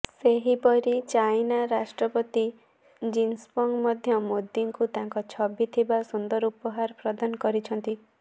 ସେହିପରି ଚାଇନା ରାଷ୍ଟ୍ରପତି ଜିନିପଙ୍ଗ ମଧ୍ୟ ମୋଦିଙ୍କୁ ତାଙ୍କ ଛବି ଥିବା ସୁନ୍ଦର ଉପହାର ପ୍ରଦାନ କରିଛନ୍ତି